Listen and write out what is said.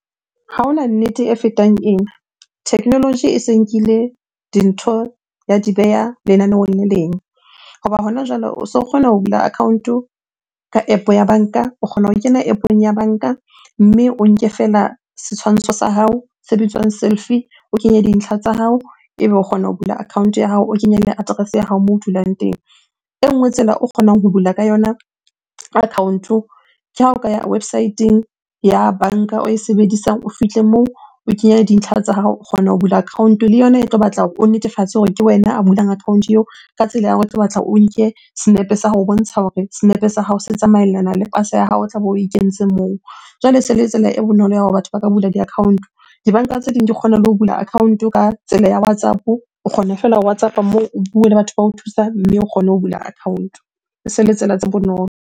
Ha hona nnete e fetang ena. Technology e se nkile dintho ya di beha lenaneho le leng. Hoba hona jwale o so kgona ho bula account ka App ya banka, o kgona ho kena App-ong ya banka, mme o nke feela setshwantsho sa hao se bitswang selfie. O kenye dintlha tsa hao ebe o kgona ho bula account ya hao, o kenye le address-e ya hao moo dulang teng. E nngwe tsela o kgonang ho bula ka yona account-o, ke ha o ka ya website-eng ya banka oe sebedisang o fihle moo o kenye dintlha tsa hao, o kgona ho bula account-o. Le yona e tlo batla hore o netefatse hore ke wena a bulang account-o eo ka tsela ya hore e tlo batla o nke senepe sa ho bontsha hore senepe sa hao se tsamaellana le pasa ya hao tlabe oe kentse moo. Jwale e se le tsela e bonolo ya hore batho ba ka bula di-account. Dibanka tse ding di kgona le ho bula account-o ka tsela ya WhatsApp-o, o kgona fela WhatsApp-a moo o bue le batho bao thusang mme o kgone ho bula account-o. E se le tsela tse bonolo.